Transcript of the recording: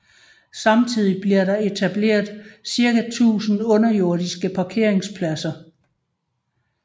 Samtidig bliver der etableret cirka 1000 underjordiske parkeringspladser